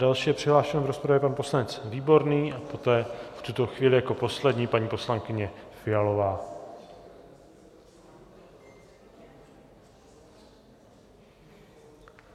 Další je přihlášen v rozpravě pan poslanec Výborný a poté, v tuto chvíli jako poslední, paní poslankyně Fialová.